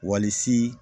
Walisi